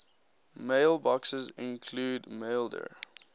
mailboxes include maildir